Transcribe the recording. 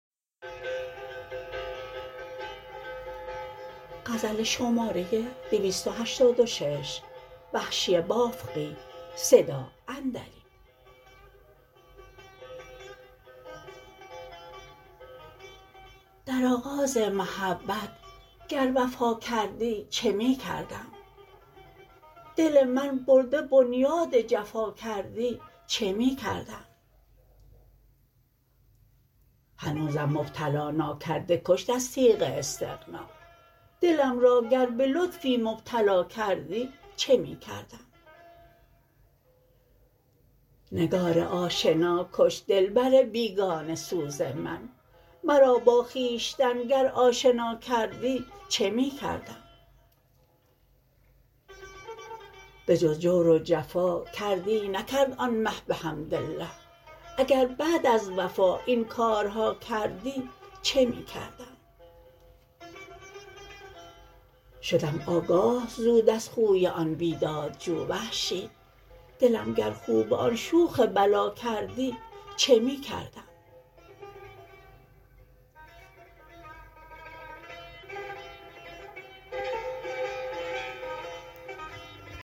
در آغاز محبت گر وفا کردی چه می کردم دل من برده بنیاد جفا کردی چه می کردم هنوزم مبتلا نا کرده کشت از تیغ استغنا دلم را گر به لطفی مبتلا کردی چه می کردم نگار آشنا کش دلبر بیگانه سوز من مرا با خویشتن گر آشنا کردی چه می کردم بجز جور و جفا کردی نکرد آن مه بحمداله اگر بعد از وفا این کارها کردی چه می کردم شدم آگاه زود از خوی آن بیداد جو وحشی دلم گر خو به آن شوخ بلا کردی چه می کردم